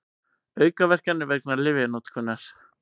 Aukaverkanir vegna lyfjanotkunar.